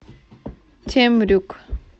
темрюк